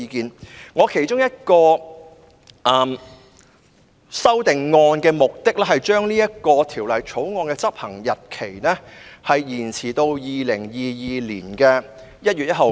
我提出的其中一項修訂的目的，是將《條例草案》的生效日期延遲至2022年1月1日。